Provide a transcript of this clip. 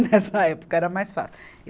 Nessa época era mais fácil.